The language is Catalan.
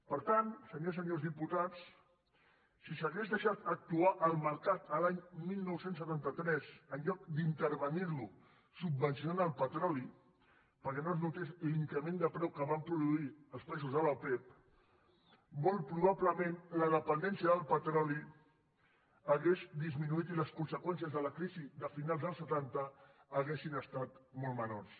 per tant senyores i senyors diputats si s’hagués deixat actuar el mercat l’any dinou setanta tres en lloc d’intervenir lo subvencionant el petroli perquè no es notés l’increment de preu que van produir els països de l’opep molt probablement la dependència del petroli hauria disminuït i les conseqüències de la crisi de finals dels setanta haurien estat molt menors